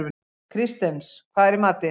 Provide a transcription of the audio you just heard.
Kristens, hvað er í matinn?